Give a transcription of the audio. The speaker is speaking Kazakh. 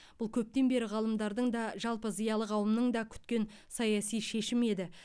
бұл көптен бері ғалымдардың да жалпы зиялы қауымның да күткен саяси шешімі еді